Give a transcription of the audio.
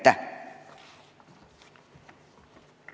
Ja aitäh!